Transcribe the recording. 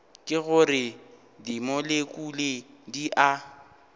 ke gore dimolekule di a